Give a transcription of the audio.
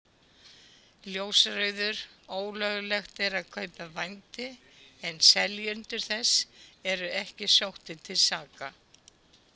Ljósrauður: Ólöglegt er að kaupa vændi en seljendur þess eru ekki sóttir til saka.